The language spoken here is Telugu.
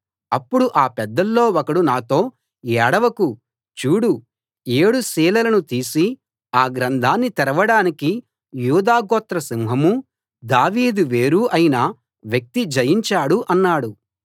అప్పుడు ఆ పెద్దల్లో ఒకడు నాతో ఏడవకు చూడు ఏడు సీలులను తీసి ఆ గ్రంథాన్ని తెరవడానికి యూదా గోత్ర సింహమూ దావీదు వేరూ అయిన వ్యక్తి జయించాడు అన్నాడు